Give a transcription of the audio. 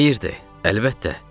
"Xeyirdir, əlbəttə.